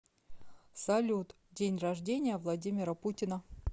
салют день рождения владимира путина